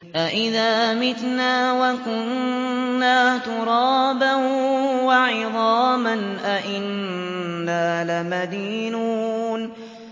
أَإِذَا مِتْنَا وَكُنَّا تُرَابًا وَعِظَامًا أَإِنَّا لَمَدِينُونَ